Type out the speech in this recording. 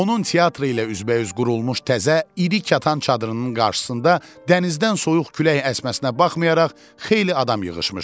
Onun teatrı ilə üzbəüz qurulmuş təzə iri kətan çadırının qarşısında dənizdən soyuq külək əsməsinə baxmayaraq xeyli adam yığışmışdı.